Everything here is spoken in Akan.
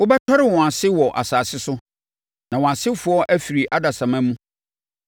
Wobɛtɔre wɔn ase wɔ asase so, na wɔn asefoɔ afiri adasamma mu.